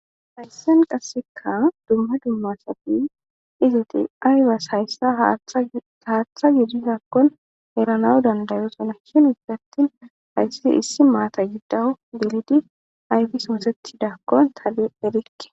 Hayssen qasseka dumma dummasati izo ti aybas hayssa haaththa gidisakkon erana dandayo salakhin isattin hayssa issi maata giddao gilidi ayfi sumuseti dakkon tale erikke.